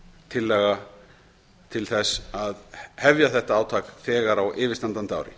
tillaga til þess að hefja þetta átak þegar á yfirstandandi ári